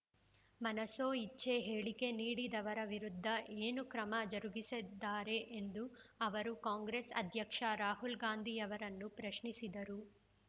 ಮನಸೋ ಇಚ್ಛೆ ಹೇಳಿಕೆ ನೀಡಿದವರ ವಿರುದ್ಧ ಏನು ಕ್ರಮ ಜರುಗಿಸಿದ್ದಾರೆ ಎಂದು ಅವರು ಕಾಂಗ್ರೆಸ್ ಅಧ್ಯಕ್ಷ ರಾಹುಲ್‌ಗಾಂಧಿಯವರನ್ನು ಪ್ರಶ್ನಿಸಿದರು